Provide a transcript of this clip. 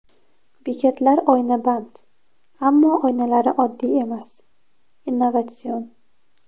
Bekatlar oynaband, ammo oynalari oddiy emas, innovatsion.